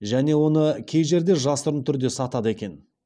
және оны кей жерде жасырын түрде сатады екен